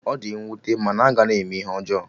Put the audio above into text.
Ọ di nwute mana a ga na-eme ihe ọjọọ